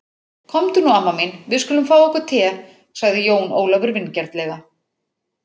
Komdu nú amma mín, við skulum fá okkur te, sagði Jón Ólafur vingjarnlega.